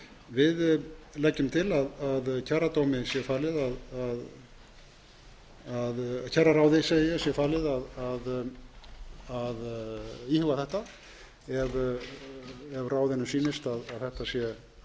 tiltekin við leggjum til að kjararáði sé falið að íhuga þetta ef ráðinu sýnist að fyrir þessu sé réttlæting en greiðslan